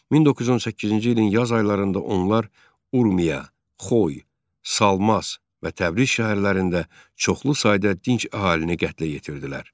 1918-ci ilin yaz aylarında onlar Urmiya, Xoy, Salmas və Təbriz şəhərlərində çoxlu sayda dinc əhalini qətlə yetirdilər.